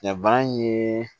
Nka bana in ye